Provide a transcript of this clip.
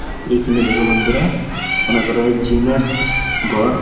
এইখেনে দেখো বন্ধুরা মনে করা হয় জিম -এর ঘর--